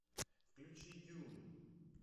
включи дюн